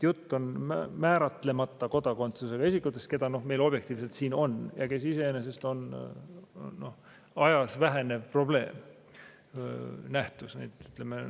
Jutt on määratlemata kodakondsusega isikutest, kes meil objektiivsetel põhjustel siin on ja keda iseenesest aja jooksul vähemaks jääb.